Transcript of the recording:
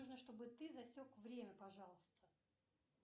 нужно чтобы ты засек время пожалуйста